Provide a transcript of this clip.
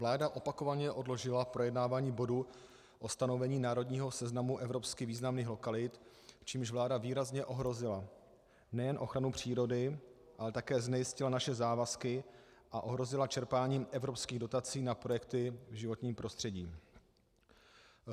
Vláda opakovaně odložila projednávání bodu o stanovení národního seznamu evropsky významných lokalit, čímž vláda výrazně ohrozila nejen ochranu přírody, ale také znejistila naše závazky a ohrozila čerpání evropských dotací na projekty v životním prostředí.